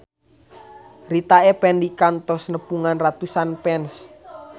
Rita Effendy kantos nepungan ratusan fans